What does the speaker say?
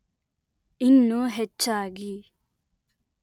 ಇನ್ನೂ ಹೆಚ್ಚಾಗಿ